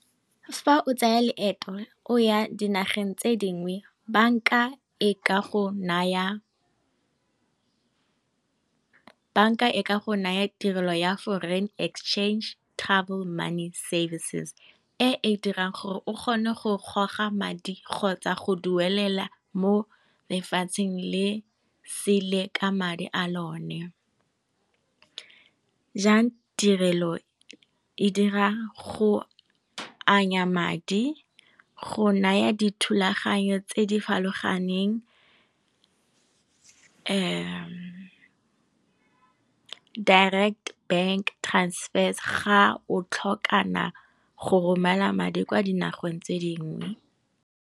Fa o tsaya leeto o ya dinageng tse dingwe, banka e ka go naya tirelo ya foreign exchange travel money services e e dirang gore o kgone go goga madi kgotsa go duelela mo lefatsheng le sele ka madi a lone. Jang tirelo e dira go anya madi, go naya dithulaganyo tse di farologaneng, direct bank transfers ga o tlhoka go romela madi kwa di nageng tse dingwe.